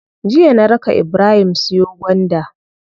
Jiya na raka ibrahim siyo gwanda.